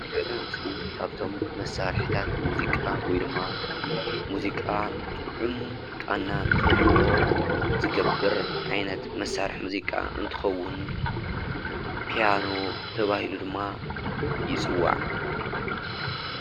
ንሪኦ ዘለና ምስሊ ካብቶም መሳርሒታት ሙዚቓ ወይ ድማ ሙዚቓ ጥዑም ቓና ንክህልዎ ዝገብር ዓይነት መሳርሒ ሙዚቃ እንትከዉን ፒያኖ ተባሂሉ ድማ ይፅዋዕ ።